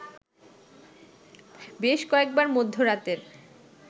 বেশ কয়েকবার মধ্যরাতের